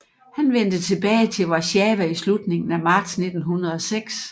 Han vendte tilbage til Warszawa i slutningen af marts 1906